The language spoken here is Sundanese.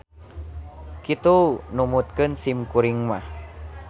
Kitu numutkeun sim kuring mah.